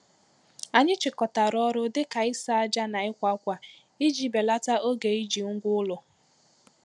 Anyị chịkọtara ọrụ dị ka ịsa ájá na ịkwa ákwà iji belata oge iji ngwa ụlọ.